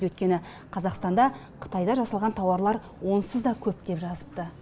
өйткені қазақстанда қытайда жасалған тауарлар онсыз да көп деп жазыпты